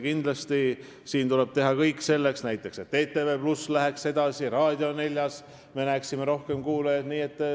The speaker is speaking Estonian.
Kindlasti tuleb teha kõik selleks, et näiteks ETV+ läheks oma arengus edasi ja Raadio 4-l oleks rohkem kuulajaid.